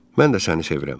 Mən də səni sevirəm.